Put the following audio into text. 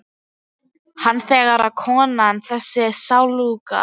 Hann segir að konan- þessi sáluga